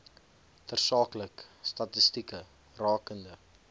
tersaaklike statistieke rakende